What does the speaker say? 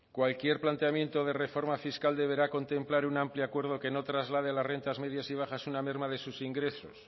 cualquier planteamiento de reforma fiscal deberá contemplar un amplio acuerdo que no traslade las rentas medias y bajas una merma de sus ingresos